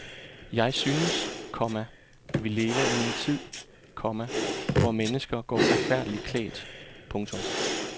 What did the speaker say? Jeg synes, komma vi lever i en tid, komma hvor mennesker går forfærdeligt klædt. punktum